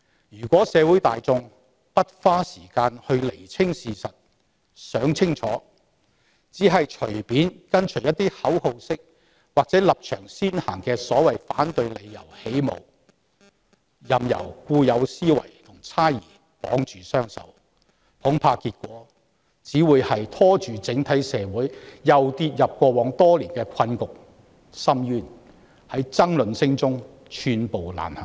要是社會大眾不花時間釐清事實，而只是隨便跟隨一些口號式或立場先行的所謂反對理由起舞，任由固有思維與猜疑綁住雙手，恐怕結果只會是整體社會繼續陷入過往多年的困局和深淵，在爭論聲中寸步難行。